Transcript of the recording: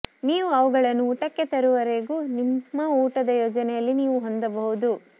ನೀವು ಅವುಗಳನ್ನು ಊಟಕ್ಕೆ ತರುವವರೆಗೂ ನಿಮ್ಮ ಊಟದ ಯೋಜನೆಯಲ್ಲಿ ನೀವು ಹೊಂದಬಹುದು